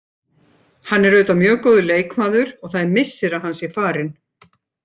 Hann er auðvitað mjög góður leikmaður og það er missir að hann sé farinn.